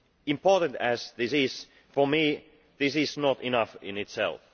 Important as this is, for me this is not enough in itself.